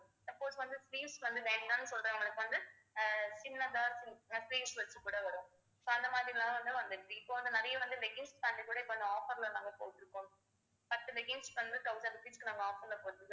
suppose வந்து sleeves வந்து வேண்டாம்னு சொல்றவங்களுக்கு வந்து ஆஹ் சின்னதா sleeves வச்சு கூட வரும் so அந்த மாதிரி எல்லாம் வந்துருச்சு இப்ப வந்து நிறைய வந்து leggings pant கூட இப்ப இந்த offer ல நாங்க போட்டிருக்கோம் பத்து leggings க்கு வந்து thousand rupees க்கு நாங்க offer ல போட்டுருக்கோம்